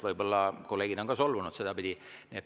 Võib-olla tõesti kolleegid on solvunud selle peale.